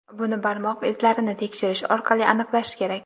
buni barmoq izlarini tekshirish orqali aniqlash kerak.